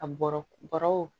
A bɔrɔ bɔrɔw